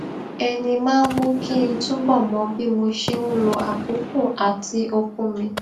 ẹni máa ń mú kí n túbò mọ bí mo ṣe ń lo àkókò àti okun mi